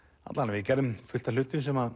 við gerðum fullt af hlutum sem